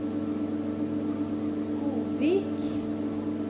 Godvik